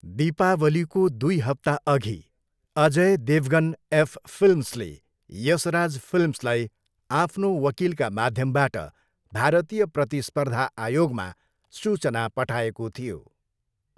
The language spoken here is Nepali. दीपावलीको दुई हप्ताअघि, अजय देवगन एफ फिल्म्सले यसराज फिल्म्सलाई आफ्नो वकिलका माध्यमबाट भारतीय प्रतिस्पर्धा आयोगमा सूचना पठाएको थियो।